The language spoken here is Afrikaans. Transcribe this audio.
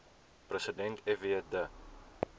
president fw de